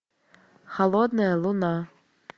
холодная луна